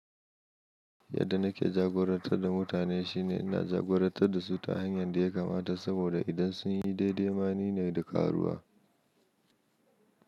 Yadda nake jagorantar da mutane shine ina jagorantar da su ta hanyar da ya kamata saboda idan sun yi daidai ma ni ne da karuwa.